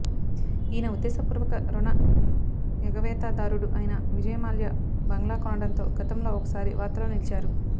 ఈయన ఉద్దేశపూర్వక రుణ ఎగవేతదారుడు అయిన విజయ్ మాల్యా బంగ్లా కొనడంతో గతంలో ఒకసారి వార్తల్లో నిలిచారు